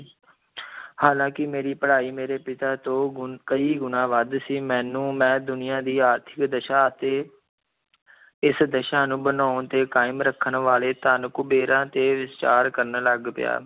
ਹਾਲਾਂਕਿ ਮੇਰੀ ਪੜ੍ਹਾਈ ਮੇਰੇ ਪਿਤਾ ਤੋਂ ਗੁਣ, ਕਈ ਗੁਣਾ ਵੱਧ ਸੀ, ਮੈਨੂੰ ਮੈਂ ਦੁਨੀਆ ਦੀ ਆਰਥਿਕ ਦਸ਼ਾ ਅਤੇ ਇਸ ਦਸ਼ਾ ਨੂੰ ਬਣਾਉਣ ਤੇ ਕਾਇਮ ਰੱਖਣ ਵਾਲੇ, ਧਨ ਕੁਬੇਰਾਂ ਤੇ ਵਿਚਾਰ ਕਰਨ ਲੱਗ ਪਿਆ।